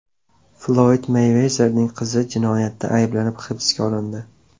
Floyd Meyvezerning qizi jinoyatda ayblanib hibsga olindi.